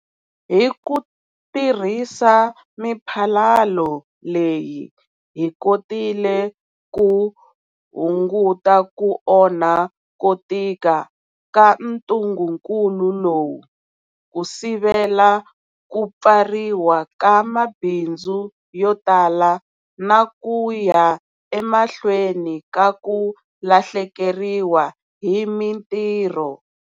Hi ku tirhisa miphalalo leyi hi kotile ku hunguta ku onha ko tika ka ntungukulu lowu, ku sivela ku pfariwa ka mabindzu yo tala na ku ya emahlweni ka ku lahlekeriwa hi mitirho.